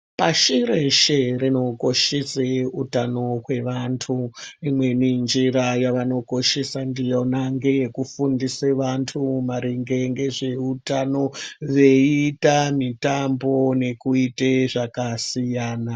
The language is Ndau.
Pashi reshe rinokoshese utano hwevantu imweni njira yavanokoshesa ndiona ngeyekufundise vantu maringe ngezveutano veiita mitambo nekuite zvakasiyana.